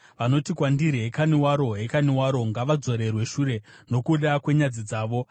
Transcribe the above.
Vanoti kwandiri, “Hekani waro! Hekani waro!” ngavadzorerwe shure nokuda kwenyadzi dzavo.